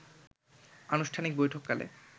আনুষ্ঠানিক বৈঠককালে